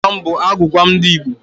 Gwam gwam gwam bụ agwụgwa ndị Igbo.